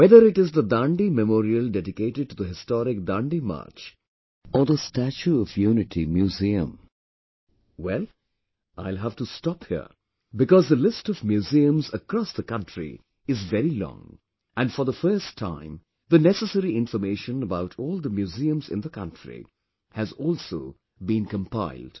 Whether it is the Dandi Memorial dedicated to the historic Dandi March or the Statue of Unity Museum,... well, I will have to stop here because the list of museums across the country is very long and for the first time the necessary information about all the museums in the country has also been compiled